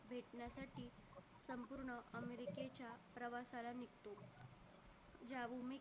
प्रवासाला निघतो